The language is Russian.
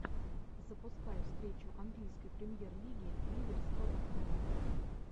запускай встречу английской премьер лиги ливер с тоттенхэмом